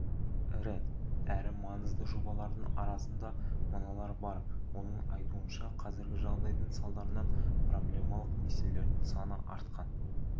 ірі әрі маңызды жобалардың арасында мыналар бар оның айтуынша қазіргі жағдайдың салдарынан проблемалық несиелердің саны артқан